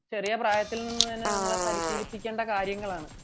ചെറിയ പ്രായത്തിൽ തന്നെ നമ്മളെ പരിശീലിപ്പിക്കേണ്ട കാര്യങ്ങളാണ്